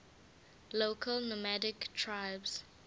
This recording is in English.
local nomadic tribes